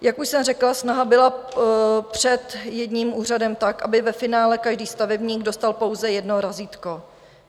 Jak už jsem řekla, snaha byla před jedním úřadem tak, aby ve finále každý stavebník dostal pouze jedno razítko.